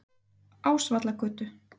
Ásvallagötu